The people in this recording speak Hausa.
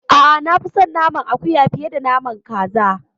A'a, na fi son naman akuya fiye da naman kaza.